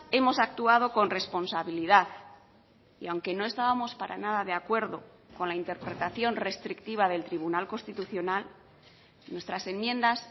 hemos actuado con responsabilidad y aunque no estábamos para nada de acuerdo con la interpretación restrictiva del tribunal constitucional nuestras enmiendas